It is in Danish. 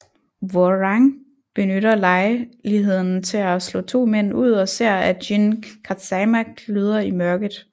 Hwoarang benytter lejeligheden til at slå to mænd ud og ser at Jin Kazama gløder i mørket